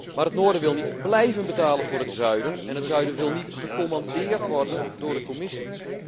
Maar het noorden wil niet blijven betalen voor het zuiden en het zuiden wil niet gecommandeerd worden door de Commissie.